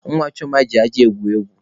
Nwa Chioma ji aja egwuri egwu.